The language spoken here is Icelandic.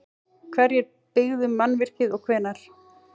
Hverjir byggðu mannvirkið og hvenær?